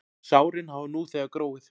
Sárin hafa nú þegar gróið.